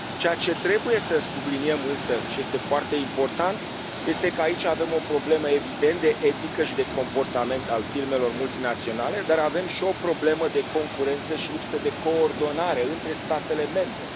Ceea ce trebuie să subliniem, însă, și este foarte important este că aici avem o problemă evident de etică și de comportament al firmelor multinaționale, dar avem și o problemă de concurență și lipsă de coordonare între statele membre.